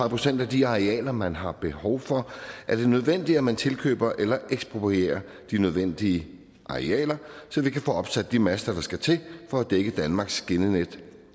procent af de arealer man har behov for er det nødvendigt at man tilkøber eller eksprorierer de nødvendige arealer så vi kan få opsat de master der skal til for at dække danmarks skinnenet